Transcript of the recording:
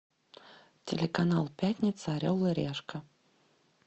телеканал пятница орел и решка